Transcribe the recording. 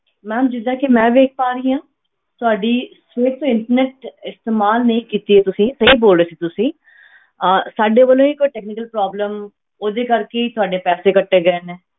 Ma'am ਜਿੱਦਾਂ ਕਿ ਮੈਂ ਵੇਖ ਪਾ ਰਹੀ ਹਾਂ ਤੁਹਾਡੀ ਸਿਰਫ਼ internet ਇਸਤੇਮਾਲ ਨਹੀਂ ਕੀਤੀ ਹੈ ਤੁਸੀਂ ਸਹੀ ਬੋਲ ਰਹੇ ਸੀ ਤੁਸੀਂ ਅਹ ਸਾਡੇ ਵੱਲੋਂ ਹੀ ਕੋਈ technical problem ਉਹਦੀ ਕਰਕੇ ਹੀ ਤੁਹਾਡੇ ਪੈਸੇ ਕੱਟੇ ਗਏ ਨੇ।